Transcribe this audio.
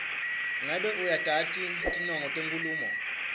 ngabe uyatati tinongo tenkhulumo